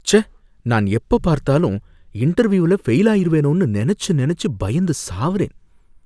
ச்சே! நான் எப்பப் பார்த்தாலும் இன்டர்வியூல ஃபெயில் ஆயிருவேனோனு நனைச்சு நனைச்சு பயந்து சாவுறேன்